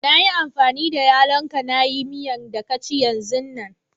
Na yi amfani da yallo'n ka na yi miyan da ka ci yanzun nan.